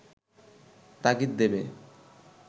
তাগিদ দেবে